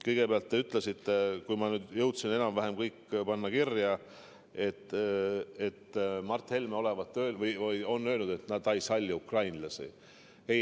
Kõigepealt te ütlesite, kui ma nüüd jõudsin enam-vähem kõik kirja panna, et Mart Helme on öelnud, et ta ei salli ukrainlasi.